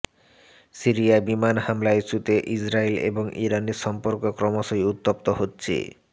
সিরিয়ায় বিমান হামলা ইস্যুতে ইসরায়েল এবং ইরানের সম্পর্ক ক্রমশই উত্তপ্ত হচ্ছে